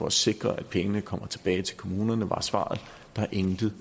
at sikre at pengene kommer tilbage til kommunerne var svaret der er intet